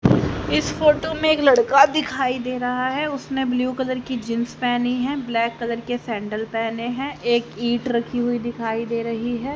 इस फोटो में एक लड़का दिखाई दे रहा है उसने ब्लू कलर की जींस पहनी है ब्लैक कलर के सैंडल पहने हैं एक ईंट रखी हुई दिखाई दे रही है।